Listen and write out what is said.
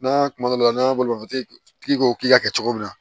N'a kuma dɔw la n'an ye bolimafɛntigi ko k'i ka kɛ cogo min na